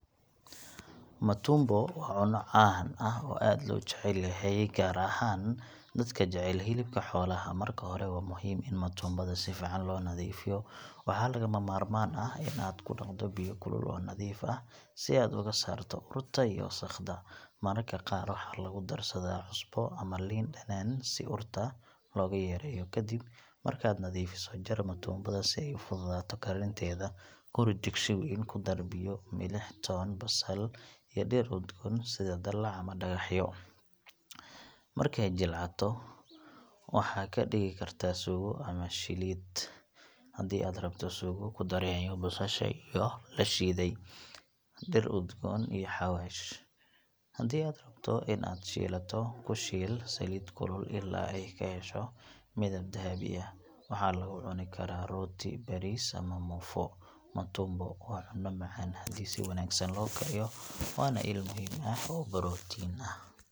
Matumbo waa cunno caan ah oo aad loo jecel yahay, gaar ahaan dadka jecel hilibka xoolaha. Marka hore, waa muhiim in matumbada si fiican loo nadiifiyo. Waxa lagama maarmaan ah in aad ku dhaqdo biyo kulul oo nadiif ah si aad uga saarto urta iyo wasakhda. Mararka qaar waxaa lagu darsadaa cusbo ama liin dhanaan si urta looga yareeyo. Kadib markaad nadiifiso, jar matumbada si ay u fududaato karinteeda. Ku rid digsi weyn, ku dar biyo, milix, toon, basal iyo dhir udgoon sida daalac ama dhagaxo. Markay jilcato, waxaad ka dhigi kartaa suugo ama shiilid. Haddii aad rabto suugo, ku dar yaanyo, basasha la shiiday, dhir udgoon, iyo xawaash. Haddii aad rabto in aad shiilato, ku shiil saliid kulul ilaa ay ka hesho midab dahabi ah. Waxaa lagu cuni karaa rooti, bariis ama muufo. Matumbo waa cunno macaan haddii si wanaagsan loo kariyo, waana il muhiim ah oo borotiin ah.